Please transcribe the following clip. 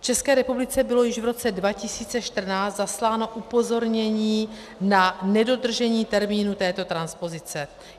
V České republice bylo již v roce 2014 zasláno upozornění na nedodržení termínu této transpozice.